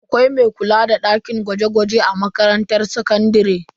Akwai mai kula da dakin gwaje-gwaje a makarantar sakandare.